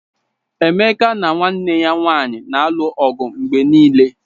Emeka na nwanne ya nwanyị na-alụ ọgụ mgbe niile